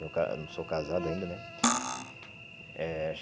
Eu ca eu não sou casado ainda, né? Eh acho